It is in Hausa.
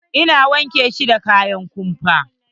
Ina wanke shi da kayan kumfa.